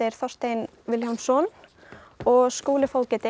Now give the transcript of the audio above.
Þorstein Vilhjálmsson og Skúli